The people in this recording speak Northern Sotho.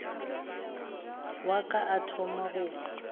wa ka o thoma go